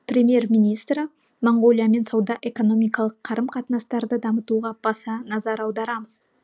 премьер министрі моңғолиямен сауда экономикалық қарым қатынастарды дамытуға баса назар аударамыз